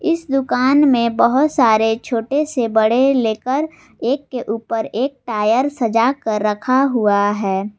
इस दुकान मे बहोत सारे छोटे से बड़े लेकर एक के ऊपर एक टायर सजा कर रखा हुआ है।